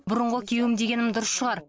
бұрынғы күйеуім дегенім дұрыс шығар